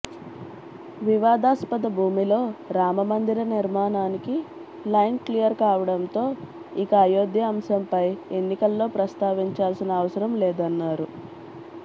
వివాదాస్పద భూమిలో రామ మందిర నిర్మాణానికి లైన్ క్లియర్ కావడంతో ఇక అయోధ్య అంశంపై ఎన్నికల్లో ప్రస్తావించాల్సిన అవసరం లేదన్నారు